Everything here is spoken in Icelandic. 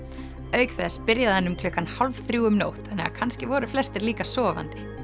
auk þess byrjaði hann um klukkan hálf þrjú um nótt þannig að kannski voru flestir líka sofandi